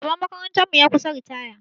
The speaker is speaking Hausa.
Shugaban makarantar mu ya kusa ritaya.